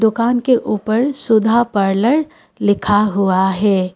दुकान के ऊपर सुधा पार्लर लिखा हुआ है।